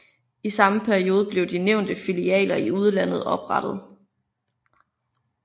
I samme periode blev de nævnte filialer i udlandet oprettet